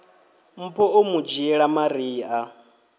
mpho o mu dzhiela maria